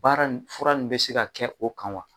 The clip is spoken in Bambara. Baara nin fura in bɛ se ka kɛ o kan wa?